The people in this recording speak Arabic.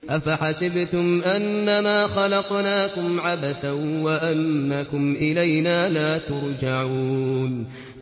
أَفَحَسِبْتُمْ أَنَّمَا خَلَقْنَاكُمْ عَبَثًا وَأَنَّكُمْ إِلَيْنَا لَا تُرْجَعُونَ